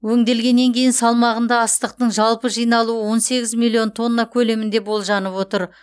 өңделгеннен кейінгі салмағында астықтың жалпы жиналуы он сегіз миллион тонна көлемінде болжанып отыр